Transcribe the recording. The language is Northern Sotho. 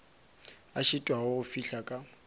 a šitwago go fihla ka